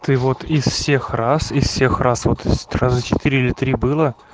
ты вот из всех раз и всех раз вот раза четыре три было